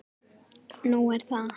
"""Nú, er það?"""